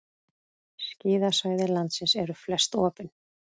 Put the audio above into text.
Skíðasvæði landsins eru flest opin